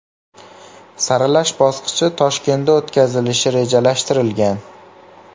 Saralash bosqichi Toshkentda o‘tkazilishi rejalashtirilgan.